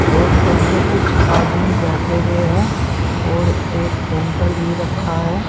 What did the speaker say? और उनके कुछ आदमी बैठे हुए हैं और एक कोन्टर भी रखा है।